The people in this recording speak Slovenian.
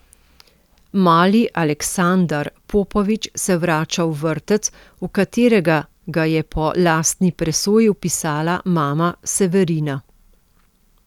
Mali Aleksandar Popović se vrača v vrtec, v katerega ga je po lastni presoji vpisala mama Severina.